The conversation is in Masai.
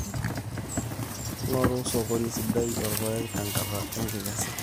ngoru sokoni sidai olpaek tenkata enkikesa